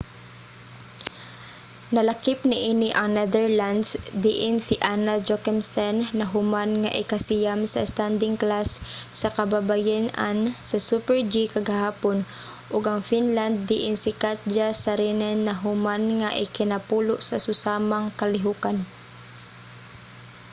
nalakip niini ang netherlands diin si anna jochemsen nahuman nga ikasiyam sa standing class sa kababayen-an sa super-g kagahapon ug ang finland diin si katja saarinen nahuman nga ikanapulo sa susamang kalihukan